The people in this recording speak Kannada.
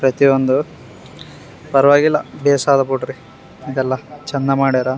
ಪ್ರತಿಯೊಂದು ಪರ್ವಾಗಿಲ್ಲ ಬೇಸರ ಬಿಡ್ರಿ ಇದೆಲ್ಲ ಚಂದ ಮಾಡ್ಯಾರ.